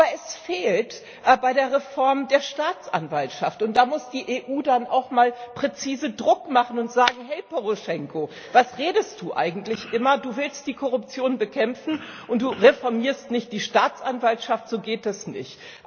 Aber es fehlt bei der Reform der Staatsanwaltschaft, und da muss die EU dann auch mal präzise Druck machen und sagen Hey, Poroschenko, was redest du eigentlich immer? Du willst die Korruption bekämpfen und du reformierst nicht die Staatsanwaltschaft so geht das nicht!